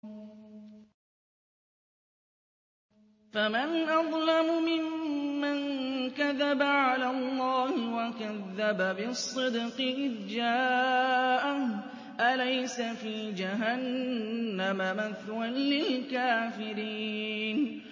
۞ فَمَنْ أَظْلَمُ مِمَّن كَذَبَ عَلَى اللَّهِ وَكَذَّبَ بِالصِّدْقِ إِذْ جَاءَهُ ۚ أَلَيْسَ فِي جَهَنَّمَ مَثْوًى لِّلْكَافِرِينَ